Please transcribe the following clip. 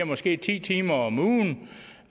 måske ti timer om ugen